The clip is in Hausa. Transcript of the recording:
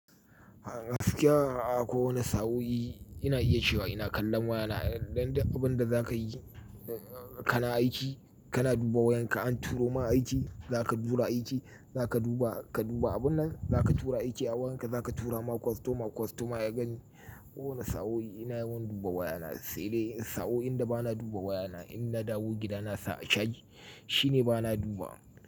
Gaskiya a kowane sa'o'i ina iya cewa ina kallon wayana a yanxu. Dan duk abunda za ka yi, kana aiki, kana duba wayanka, an turo ma aiki, za ka tura aiki, za ka duba, ka duba abun nan, za ka tura aiki a wayanka, za ka tura ma kwastoma. Kwastoma ya gani. Kowane sa'o'i ina yawan duba wayana. Sai dai in sa'o'in da ba na duba wayana, in na dawo gidana nasa a caji shine ba na dubawa.